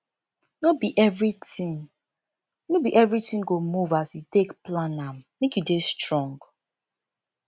no be everytin no be everytin go move as you take plan am make you dey strong